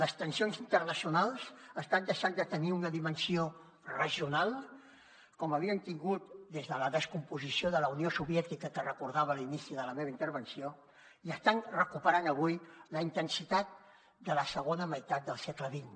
les tensions internacionals estan deixant de tenir una dimensió regional com havien tingut des de la descomposició de la unió soviètica que recordava a l’inici de la meva intervenció i estan recuperant avui la intensitat de la segona meitat del segle xx